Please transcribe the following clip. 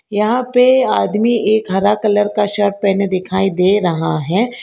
यहां पे आदमी एक हरा कलर का शर्ट पहने दिखाई दे रहा है।